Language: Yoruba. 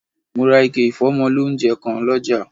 Mo ra ike ìfómọ lóunjẹ kan lọ́jà